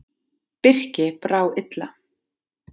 Birki brá illa.